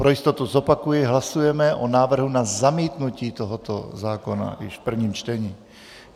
Pro jistotu zopakuji, hlasujeme o návrhu na zamítnutí tohoto zákona již v prvním čtením.